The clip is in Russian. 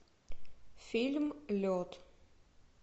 фильм лед